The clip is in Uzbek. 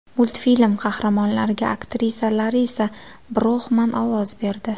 Multfilm qahramonlariga aktrisa Larisa Broxman ovoz berdi.